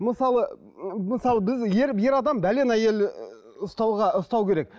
мысалы ыыы мысалы біз ер ер адам әйел ііі ұстауға ұстау керек